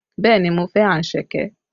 Bẹẹ ni, mo fẹ́ anṣẹ̀kẹ́